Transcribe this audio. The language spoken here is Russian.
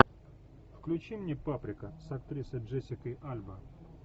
включи мне паприка с актрисой джессика альба